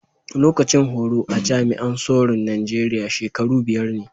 Lokacin horo a jami'an soro'n Nijeriya shakaru biyar ne.